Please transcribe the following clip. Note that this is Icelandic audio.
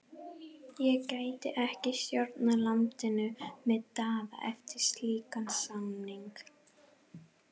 Ég gæti ekki stjórnað landinu með Daða eftir slíkan samning.